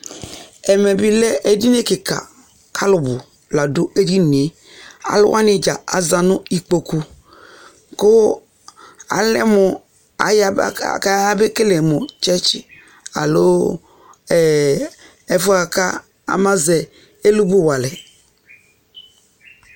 Ɛmɛ bɩ edini kɩka kʋ alʋbʋ la dʋ edini yɛ Alʋ wanɩ dza aza nʋ ikpoku kʋ alɛ mʋ ayaba kayabekele mʋ tsɛtsɩ alo ɛ ɛfʋ yɛ bʋa kʋ amazɛ ɛlʋmɔwualɛ